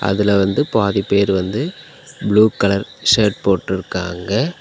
அதுல வந்து பாதி பேர் வந்து ப்ளூ கலர் ஷர்ட் போட்டுருக்காங்க.